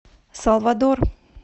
салвадор